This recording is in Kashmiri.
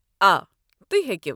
آ، تُہۍ ہیٚکِو۔